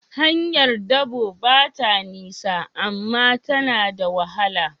Hanyar dabo ba ta nisa, amma ta na da wahala.